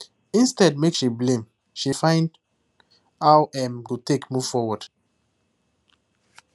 instead make she blame she find how em go take move forward